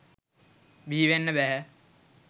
බිහිවෙන්න බැහැ.